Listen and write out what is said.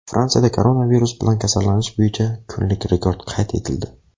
Fransiyada koronavirus bilan kasallanish bo‘yicha kunlik rekord qayd etildi.